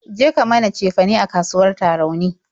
Je ka mana cefane a kasuwar Tarauni!